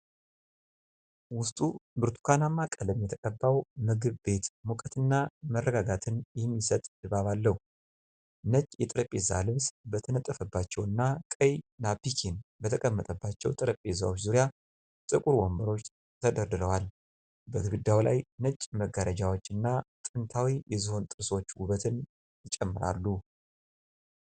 ውስጡ ብርቱካንማ ቀለም የተቀባው ምግብ ቤት ሙቀትና መረጋጋት የሚሰጥ ድባብ አለው። ነጭ የጠረጴዛ ልብስ በተነጠፈባቸውና ቀይ ናፕኪን በተቀመጠባቸው ጠረጴዛዎች ዙሪያ ጥቁር ወንበሮች ተደርድረዋል። በግድግዳው ላይ ነጭ መጋረጃዎችና ጥንታዊ የዝሆን ጥርሶች ውበትን ይጨምራሉ።